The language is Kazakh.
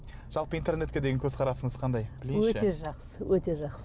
жалпы интернетке деген көзқарасыңыз қандай білейінші өте жақсы өте жақсы